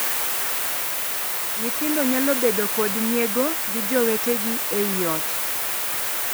Nyithindo nyalo bedo kod nyiego gi jowetegi ei ot.